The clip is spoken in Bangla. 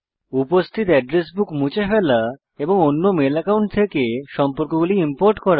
উপস্থিত এড্রেস বুক মুছে ফেলা এবং অন্য মেল অ্যাকাউন্ট থেকে সম্পর্কগুলি ইম্পোর্ট করে